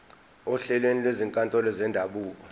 ohlelweni lwezinkantolo zendabuko